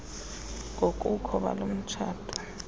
ngobukho balo mtshato